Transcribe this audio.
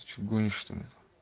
ты что гонишь что ли